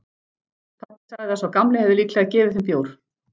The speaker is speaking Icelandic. Pabbi sagði að sá gamli hefði líklega gefið þeim bjór.